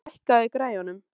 Addi, lækkaðu í græjunum.